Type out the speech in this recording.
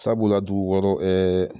Sabula la dugu wɔɔrɔ